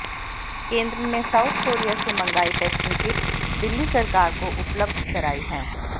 केंद्र ने south Korea से मंगाई टेस्टिंग किट दिल्ली सरकार को उपलब्ध कराई है